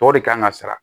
Tɔw de kan ka sara